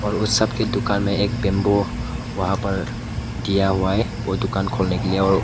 और सब की दुकान में एक बंबू वहां पर दिया हुआ है और दुकान खोलने के लिए और--